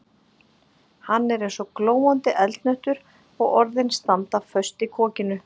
Hann er eins og glóandi eldhnöttur og orðin standa föst í kokinu.